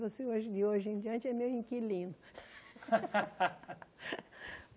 Você hoje, de hoje em diante, é meu inquilino.